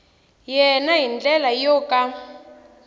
yena hi ndlela yo ka